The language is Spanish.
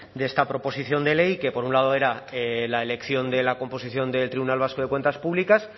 de esta proposición de ley que por un lado era la elección de la composición del tribunal vasco de cuentas públicas